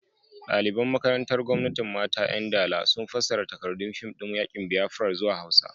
Daliban makarantar Gwamnatin Mata 'Yan Dala sun fassara takardun fim din yakin Biafra zuwa Hausa.